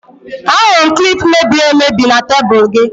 Ahụrụ m klip mebiri emebi na tebụl gị